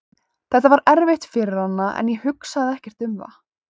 Þetta var erfitt fyrir hana en ég hugsaði ekkert um það.